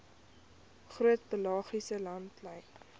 groot pelagiese langlynvissery